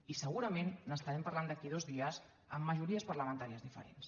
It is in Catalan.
i segurament n’estarem parlant d’aquí a dos dies amb majories parlamentàries diferents